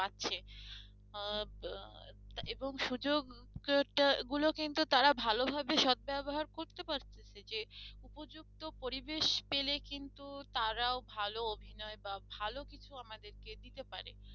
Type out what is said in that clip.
আহ এবং সুযোগ গুলো কিন্তু তারা ভালোভাবে সদ্ব্যবহার করতে পারতেছে যে উপযুক্ত পরিবেশ পেলে কিন্তু তারাও ভালো অভিনয় বা ভালো কিছু আমাদেরকে দিতে পারে